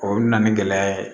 O bɛ na ni gɛlɛya ye